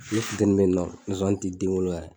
Ne futɛni be yen nɔ nzonzani te den wolo yɛrɛ